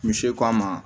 Misi seko an ma